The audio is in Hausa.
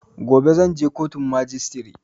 Gobe zan je kotun majistire